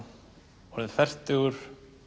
orðinn fertugur